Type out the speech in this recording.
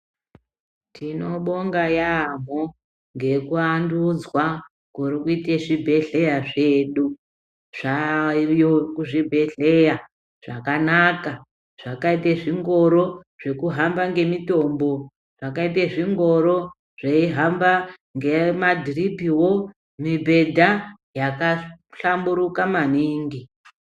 Tinobonga yaambo ngekuandudzwa kurikuite zvibhedhleya zvedu. Zvayo kuzvibhedhleya zvakanaka zvakaite zvingoro zvekuhamba ngemitombo. Zvakaite zvingoro zveihamba ngemadhiripivo mibhedha yakahlamburuka maningi.